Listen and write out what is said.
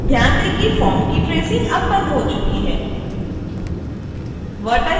ध्यान दें कि फॉर्म की ट्रेसिंग अब बंद हो चुकी है